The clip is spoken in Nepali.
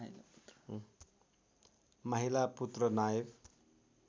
माहिला पुत्र नायव